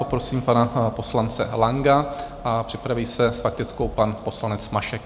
Poprosím pana poslance Langa a připraví se s faktickou pan poslanec Mašek.